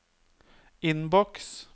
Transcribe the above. innboks